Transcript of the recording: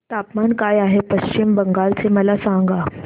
तापमान काय आहे पश्चिम बंगाल चे मला सांगा